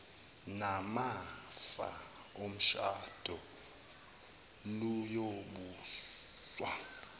namafa omshado luyobuswa